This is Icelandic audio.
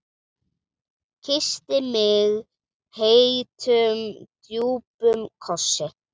Kyssti mig heitum, djúpum kossi.